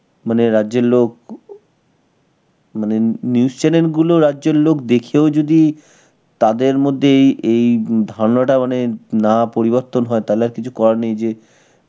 মানে রাজ্যের লোক, মানে new~ news channel গুলো রাজ্যের লোক দেখেও যদি তাদের মধ্যে এই~ এই ধারনাটা মানে না পরিবর্তন হয়, তাহলে আর কিছু করার নেই যে